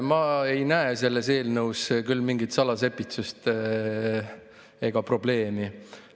Ma ei näe selles eelnõus küll mingit salasepitsust ega probleemi.